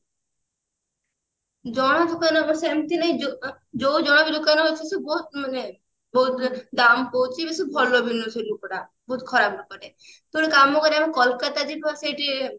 ଜଣା ଦୋକାନ ଅବଶ୍ୟ ଏମତି ନାହିଁ ଜୋ ଆଁ ଯୋଉ ଜଣା ବି ଦୋକାନ ଅଛି ସେ ବହୁତ ମାନେ ବହୁତ ଦାମ କହୁଛି ବେସୀ ଭଲ ବି ନୁହେଁ ସେ ଲୋକଟା ବହୁତ ଖରାପ ଲୋକଟେ ତୁ ଗୋଟେ କାମ କରିବା ମ କୋଲକତା ଯିବା ସେଇଠି